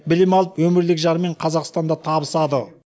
білім алып өмірілік жарымен қазақстанда табысады